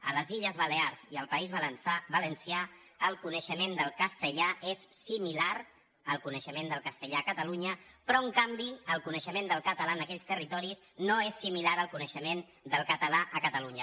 a les illes balears i al país valencià el coneixement del castellà és similar al coneixement del castellà a catalunya però en canvi el coneixement del català en aquells territoris no és similar al coneixement del català a catalunya